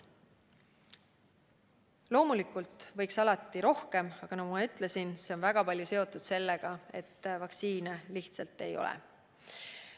Loomulikult võiks alati rohkem, aga nagu ma ütlesin, see on väga palju seotud sellega, et vaktsiini lihtsalt ei ole.